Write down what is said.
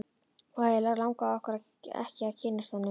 Og eiginlega langaði okkur ekki að kynnast honum.